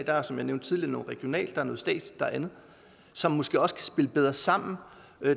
der er som jeg nævnte tidligere noget regionalt der er noget statsligt der er andet som måske også kan spille bedre sammen